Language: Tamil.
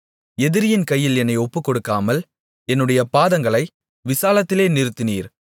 எதிரியின் கையில் என்னை ஒப்புக்கொடுக்காமல் என்னுடைய பாதங்களை விசாலத்திலே நிறுத்தினீர்